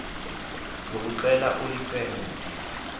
zokuxhela ulunce disa